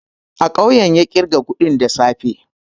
A kawun ya ƙirga kuɗin da safe